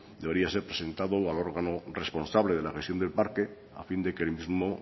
debería ser presentado al órgano responsable de la del parque a fin de que el mismo